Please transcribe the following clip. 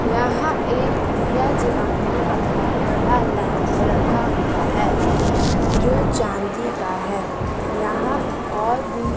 यहां एक दिया जलाने वाला बड़ा लैंप रखा हुआ है जो चांदी का है यहां और भी--